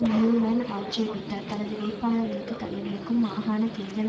Newman ஆட்சேபித்தார் தனது வேட்பாளர்களுக்கு தடைவிரிக்கும் மாகாண தேர்தல்